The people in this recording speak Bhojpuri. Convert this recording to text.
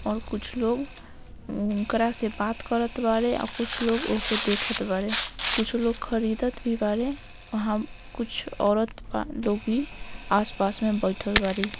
और कुछ लोग उम्म ओकरा से बात करत बाड़े आ कुछ लोग ओह के देखत बाड़े कुछ लोग खरीदत भी बाड़े वहां कुछ औरत बा लोग भी आस-पास में बैठएल बाड़ी।